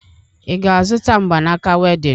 Ị ga-azụta mgbanaaka wedịn?